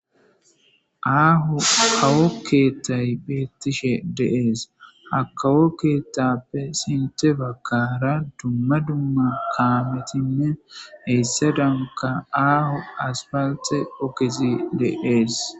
Aho kawo kethay betishe de'es . Ha kawo kethappe sinthe bagara dumma dumma kamet hesadanka aho aspalte ogez de'es.